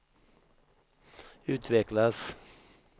utvecklas